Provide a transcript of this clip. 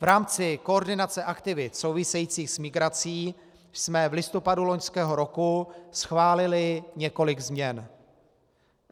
V rámci koordinace aktivit souvisejících s migrací jsme v listopadu loňského roku schválili několik změn.